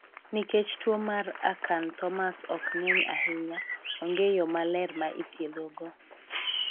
Nikech tuo mar acanthomas ok ng'eny ahinya ,ong'e yoo maler ma ithietho go..